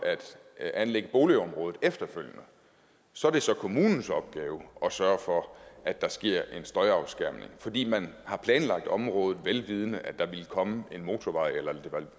at anlægge boligområdet efterfølgende så er det så kommunens opgave at sørge for at der sker en støjafskærmning fordi man har planlagt området vel vidende at der ville komme en motorvej eller